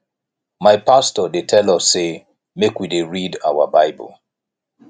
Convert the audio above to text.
my pastor dey tell us sey make we dey read our bible